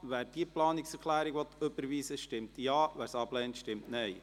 Wer diese Planungserklärung überweisen will, stimmt Ja, wer sie ablehnt, stimmt Nein.